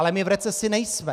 Ale my v recesi nejsme.